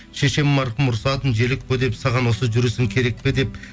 шешем марқұм ұрсатын желөкпе деп саған осы жүрісің керек пе деп